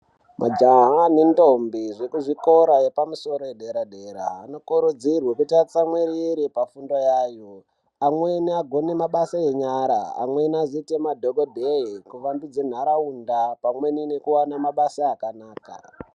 Majaha nendombi zvekuzvikora yepamusoro yedera-dera anokurudzirwe kuti atsamwirire pafundo yayo, amweni agone mabasa enyara, amweni azoite madhogodheya, kuvandudze ntaraunda pamwe nekuve nemabasa akanaka.